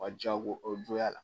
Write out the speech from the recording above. Ka jago